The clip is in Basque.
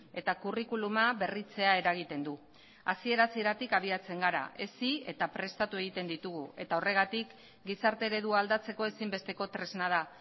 eta curriculuma berritzea eragiten du hasiera hasieratik abiatzen gara hezi eta prestatu egiten ditugu eta horregatik gizarte eredua aldatzeko ezinbesteko tresna da